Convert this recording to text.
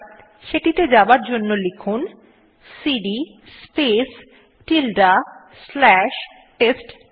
সেটিতে যাবার জন্য লিখুন cd space tilde slash test tree